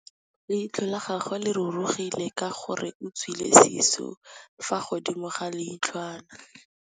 Leitlhô la gagwe le rurugile ka gore o tswile sisô fa godimo ga leitlhwana.